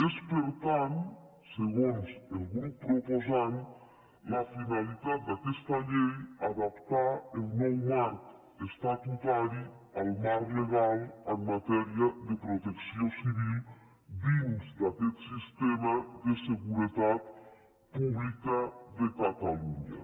és per tant segons el grup proposant la finalitat d’aquesta llei adaptar el nou marc estatutari al marc legal en matèria de protecció civil dins d’aquest sistema de seguretat pública de catalunya